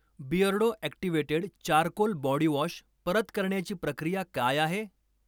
Beardo activated charcoal body wash परत करण्याची प्रक्रिया काय आहे?